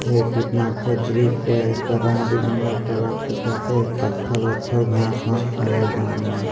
ये कितना अच्छा दृश्या है एकर रंग बिरंगा कलर दिखत हे पत्थल वत्थल घास व्वांस है बांध में।